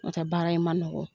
N'ɔ tɛ baara in ma nɔgɔn.